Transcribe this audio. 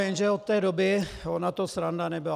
Jenže od té doby, ona to sranda nebyla.